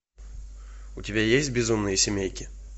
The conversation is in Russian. у тебя есть безумные семейки